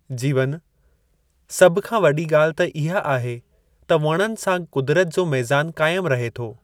जीवनु: सभ खां वडी॒ गा॒ल्हि त इहा आहे, त वणनि सां कुदरत जो मेज़ानु क़ाइमु रहे थो।